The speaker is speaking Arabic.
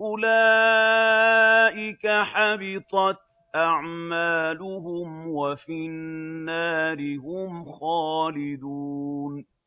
أُولَٰئِكَ حَبِطَتْ أَعْمَالُهُمْ وَفِي النَّارِ هُمْ خَالِدُونَ